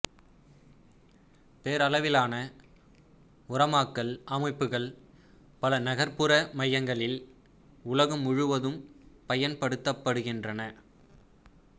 பேரளவிலான உரமாக்கல் அமைப்புக்கள் பல நகர்புற மையங்களில் உலகம் முழுதும் பயன்படுத்தப்படுகின்றன